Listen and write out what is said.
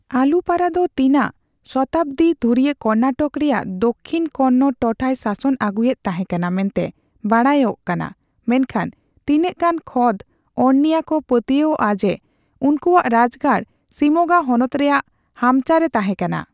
ᱟᱞᱩᱯᱟᱨᱟ ᱫᱚ ᱛᱤᱱᱟᱹᱜ ᱥᱚᱛᱟᱵᱽᱫᱤ ᱫᱷᱩᱨᱤᱭᱟᱹ ᱠᱚᱨᱱᱟᱴᱚᱠ ᱨᱮᱭᱟᱜ ᱫᱚᱠᱠᱷᱤᱱ ᱠᱚᱱᱱᱚᱲ ᱴᱚᱴᱷᱟᱭ ᱥᱟᱥᱚᱱ ᱟᱹᱜᱩᱭᱮᱫ ᱛᱟᱸᱦᱮ ᱠᱟᱱᱟ ᱢᱮᱱᱛᱮ ᱵᱟᱲᱟᱭ ᱚᱜ ᱠᱟᱱᱟ, ᱢᱮᱱᱠᱷᱟᱱ ᱛᱤᱱᱟᱹᱜ ᱜᱟᱱ ᱠᱷᱚᱸᱫᱽᱚᱨᱱᱤᱭᱟᱹ ᱠᱚ ᱯᱟᱹᱛᱭᱟᱹᱣᱚᱜᱼᱟ ᱡᱮ ᱩᱱᱠᱩᱣᱟᱜ ᱨᱟᱡᱽᱜᱟᱲ ᱥᱤᱢᱳᱜᱟ ᱦᱚᱱᱚᱛ ᱨᱮᱭᱟᱜ ᱦᱟᱢᱪᱟ ᱨᱮ ᱛᱟᱸᱦᱮ ᱠᱟᱱᱟ ᱾